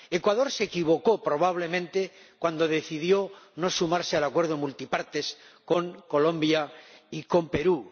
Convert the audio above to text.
Ecuador se equivocó probablemente cuando decidió no sumarse al Acuerdo multipartes con Colombia y con Perú.